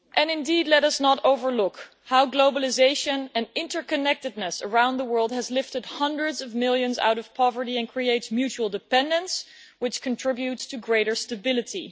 Indeed, let us not overlook how globalisation and interconnectedness around the world has lifted hundreds of millions out of poverty and creates mutual dependence, which contributes to greater stability.